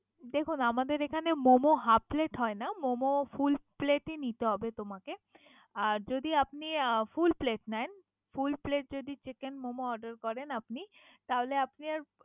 দেখুন আমাদের এখানে মোমো half plate হয় না মোমো full plate ই নিতে হবে তোমাকে। আর যদি আপনি full plate নেন। full plate chicken যদি মোমে order আপনি তাহলে আপনি।